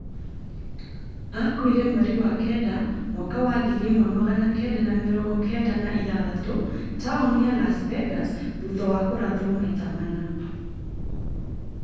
Akuire mweri wa kenda mwaka wa ngiri imwe magana kenda ma mĩrongo Kenda na ithathatũ taoni ya Las Vegas thutha wa kũrathwo maita mana